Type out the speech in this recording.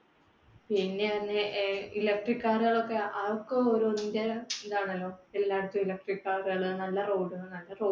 പിന്നെ പറഞ്ഞാ ഏർ electric car കൾ ഒക്കെ, ഓരോന്നിന്‍ടെ ഇതാണല്ലോ. എല്ലായിടത്തും electric car കള്, നല്ല road, നല്ല റോ